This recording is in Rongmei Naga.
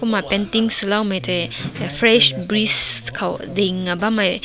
kumna painting sulao mae tai fresh breeze ting na bam.